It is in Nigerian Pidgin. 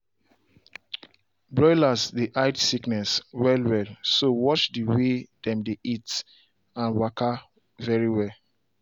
broilers dey hide sickness well wellso watch the way dem dey eat an walka very well